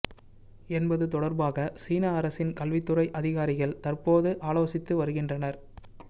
என்பது தொடர்பாக சீன அரசின் கல்வித்துறை அதிகாரிகள் தற்போது ஆலோசித்து வருகின்றனர்